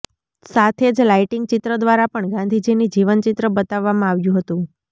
સાથે જ લાઈટીંગ ચિત્ર દ્વારા પણ ગાંધીજીની જીવન ચિત્ર બતાવવામાં આવ્યું હતું